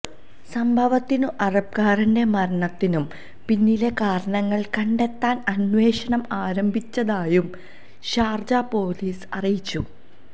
സംഭവത്തിനും അറബ്കാരന്റെ മരണത്തിനും പിന്നിലെ കാരണങ്ങൾ കണ്ടെത്താൻ അന്വേഷണം ആരംഭിച്ചതായും ഷാര്ജ പോലീസ് അറിയിച്ചു